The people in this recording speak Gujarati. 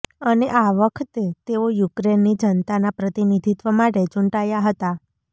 અને આ વખતે તેઓ યુક્રેનની જનતાના પ્રતિનિધિત્વ માટે ચૂંટાયા હતા